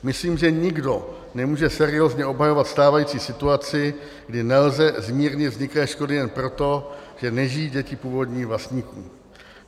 Myslím, že nikdo nemůže seriózně obhajovat stávající situaci, kdy nelze zmírnit vzniklé škody jen proto, že nežijí děti původních vlastníků.